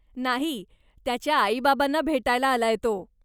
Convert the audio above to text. नाही, त्याच्या आई बाबांना भेटायला आलाय तो.